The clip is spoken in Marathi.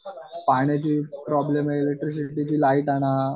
पाण्याची प्रॉब्लम आहे इलेकट्रीक लाईट आणा.